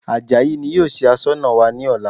Àjàyí ni yóò ṣe Aṣọ́nà wa ní ọ̀la